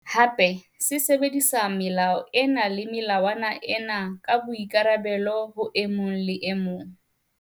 Hape, sebedisa melao ena le melawana ena ka boikarabelo ho e mong le e mong.